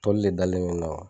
le dalen mɛ